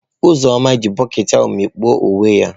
Uzoma ji bokiti ahu mikpuo uwe ya.